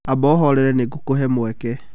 Amba ũhorere nĩ ngũkũhe mweke.